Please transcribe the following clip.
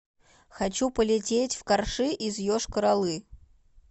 хочу полететь в карши из йошкар олы